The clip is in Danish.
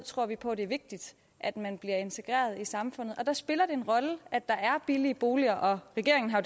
tror vi på at det er vigtigt at man bliver integreret i samfundet og der spiller det en rolle at der er billige boliger regeringen har